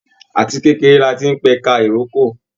Àti kékeré láti n pẹka ìrókò.